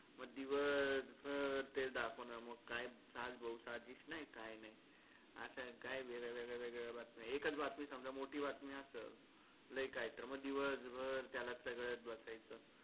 म दिवस भर तेच दाखवणार म काय सास बहु साजिश नाई काय नाई अश्या काय वेगळ्या वेगळ्या बातम्या एकच बातमी समजा मोठी बातमी असलं लय काय तर म दिवसभर त्याला चगळत बसायचं.